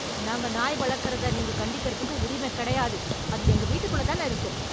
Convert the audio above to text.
நாங்க நாய் வளர்க்கிறத நீங்க கண்டிக்கிறதுக்கு உரிமக் கிடையாது, அது எங்க வீட்டுக்குள்ள தான இருக்கு.